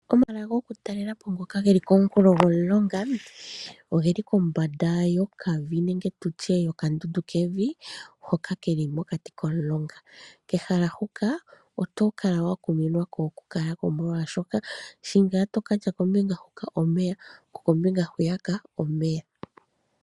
Omahala goku talela po ngoka geli komunkulo gomulonga, oge li kombanda yokavi nenge tutye yokandundu kevi, hoka keli mokati komulonga. Kehala huka oto kala wa kuminwa ko oku kala ko molwaashoka, sho ngaa to katya kombinga huka omeya, ko kombinga hwiyaka omeya.